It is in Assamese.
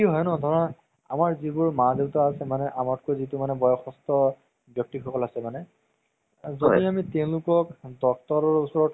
bollywood ৰ এতিয়ালৈকে movies টো কব গলে উম হুম এনেকৈও চবকে ভালে লাগে